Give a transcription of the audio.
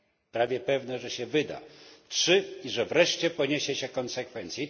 Prawie pewne, że się wyda. Trzy że wreszcie poniesie się konsekwencje.